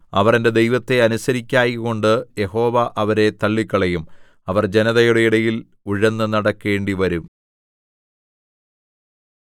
അവർ എന്റെ ദൈവത്തെ അനുസരിക്കായ്കകൊണ്ട് യഹോവ അവരെ തള്ളിക്കളയും അവർ ജനതയുടെ ഇടയിൽ ഉഴന്നു നടക്കേണ്ടിവരും